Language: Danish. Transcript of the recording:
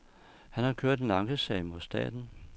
Han har kørt en ankesag mod staten.